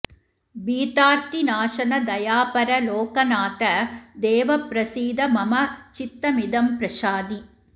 भीतार्तिनाशन दयापर लोकनाथ देव प्रसीद मम चित्तमिदं प्रशाधि